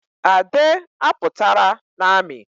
Ade à pụtara n'ami